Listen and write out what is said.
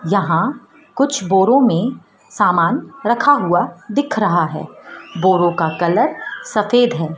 यहां कुछ बोरों में सामान रखा हुआ दिख रहा है बोरो का कलर सफेद है।